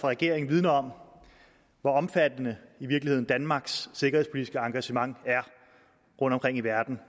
regeringen vidner om hvor omfattende danmarks sikkerhedspolitiske engagement rundtomkring i verden